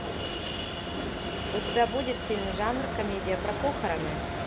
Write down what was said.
у тебя будет фильм жанр комедия про похороны